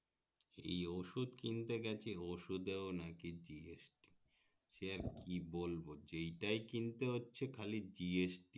ই ওষুধ কিনতে গেছে ওষুধ এ নাকি GST সে আর কি বলবো যেটাই কিনতে হচ্ছে খালি GST